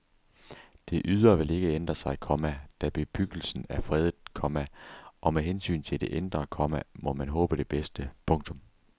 Det ydre vil ikke ændre sig, komma da bebyggelsen er fredet, komma og med hensyn til det indre, komma må man håbe det bedste. punktum